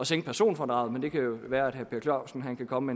sænke personfradraget men det kan jo være at herre per clausen kan komme